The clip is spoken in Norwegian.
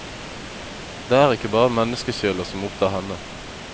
Det er ikke bare menneskesjeler som opptar henne.